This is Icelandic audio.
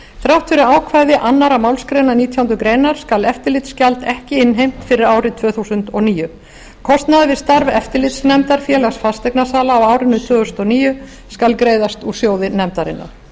þrátt fyrir ákvæði annarrar málsgreinar nítjánda grein skal eftirlitsgjald ekki innheimt fyrir árið tvö þúsund og níu kostnaður við starf eftirlitsnefndar félags fasteignasala á árinu tvö þúsund og níu skal greiðast úr sjóði nefndarinnar